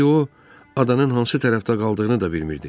İndi o adanın hansı tərəfdə qaldığını da bilmirdi.